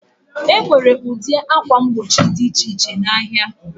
Enwere ụdị ákwà mgbochi dị iche iche na ahịa.